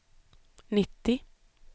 nittio